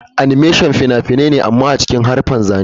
Animation fina-finai ne amma a cikin haruffan zane-zane.